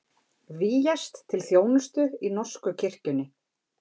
Vígjast til þjónustu í norsku kirkjunni